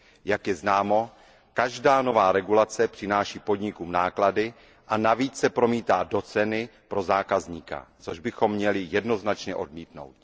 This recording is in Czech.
Jak je známo, každá nová regulace přináší podnikům náklady a navíc se promítá do ceny pro zákazníka, což bychom měli jednoznačně odmítnout.